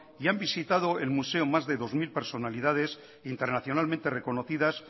y han visitado el museo más de dos mil personalidades internacionalmente reconocidas